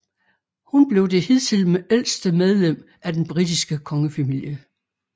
Hun blev det hidtil ældste medlem af den britiske kongefamilie